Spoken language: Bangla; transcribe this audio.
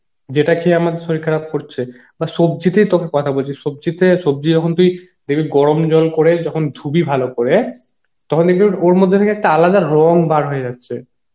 যেটা খেয়ে আমাদের শরীর খারাপ করছে, বা সবজিতেই তোকে কথা বলছি সবজি তে সবজি যখন তুই দেখবি গরম জল করে যখন ধুবি ভালো করে, তখন দেখবি ওর ওর মধ্যে থেকে একটা আলাদা রঙ বার হয়ে যাচ্ছে